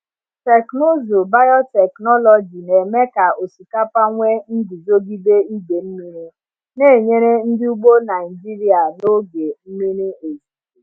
Teknụzụ biotechnology na-eme ka osikapa nwee nguzogide ide mmiri, na-enyere ndị ugbo Naijiria n’oge mmiri ozuzo.